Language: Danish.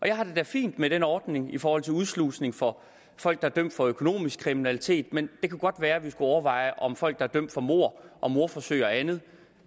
jeg har det da fint med den ordning i forhold til udslusning for folk der er dømt for økonomisk kriminalitet men det kunne godt være vi skulle overveje om folk der er dømt for mord og mordforsøg og andet